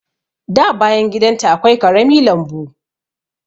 Da bayan gidan ta akwai ƙarami lambu.